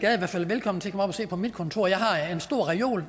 er i hvert fald velkommen til at og se på mit kontor jeg har en stor reol